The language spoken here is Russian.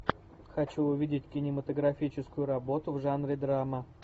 хочу увидеть кинематографическую работу в жанре драма